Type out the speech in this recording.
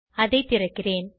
அதை திறக்கிறேன்